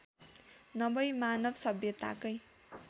नभई मानवसभ्यताकै